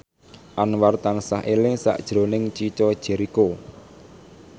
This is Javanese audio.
Anwar tansah eling sakjroning Chico Jericho